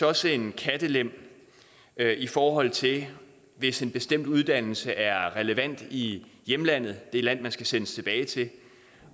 også en kattelem i forhold til hvis en bestemt uddannelse er relevant i hjemlandet det land man skal sendes tilbage til